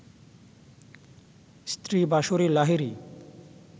স্ত্রী বাঁশরী লাহিড়ী